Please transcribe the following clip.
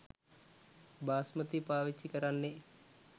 බාස්මතී පාවිච්චි කරන්නේ